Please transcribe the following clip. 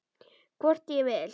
Hvort ég vil!